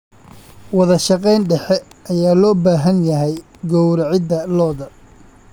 Wadashaqeyn dhexe ayaa loo baahan yahay gowracidda lo'da.